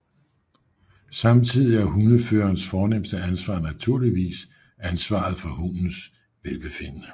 Samtidig er hundeførerens fornemste ansvar naturligvis ansvaret hundens velbefindende